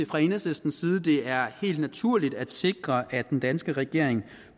fra enhedslistens side at det er helt naturligt at sikre at den danske regering